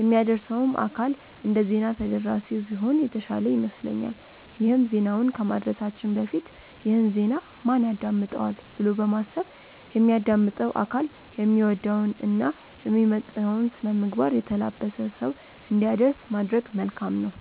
የሚያደርሰውም አካል እንደዜና ተደራሲው ቢሆን የተሻለ ይመስለኛል ይሄም ዜናውን ከማድረሳችን በፊት "ይህን ዜና ማን ያዳምጠዋል?'' ብሎ በማሰብ የሚያዳምጠው አካል የሚወደውን እና የሚመጥነውን ስነምግባር የተላበሰ ሰው እንዲያደርስ ማድረግ መልካም ነው።